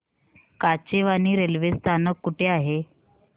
Kachewani railway स्थानक कुठे आहे